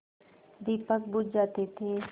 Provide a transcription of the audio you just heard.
दीपक बुझ जाते थे